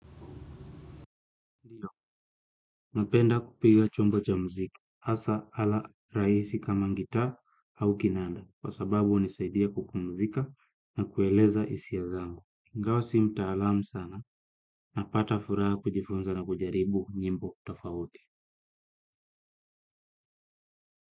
Napenda kupiga chombo cha mziki asa ala raisi kama ngitaa au kinanda kwa sababu unisaidia kupumzika na kueleza isia zangu ingawa si mtaalam sana napata furaha kujifunza na kujaribu nyimbo tafauti.